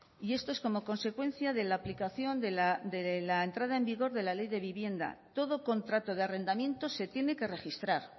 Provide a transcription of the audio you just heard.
y esto es como consecuencia de la aplicación de la entrada en vigor de la ley de vivienda todo contrato de arrendamiento se tiene que registrar